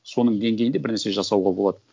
соның деңгейінде бірнәрсе жасауға болады